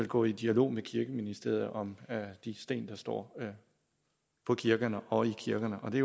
gå i dialog med kirkeministeriet om de sten der står ved kirkerne og i kirkerne og det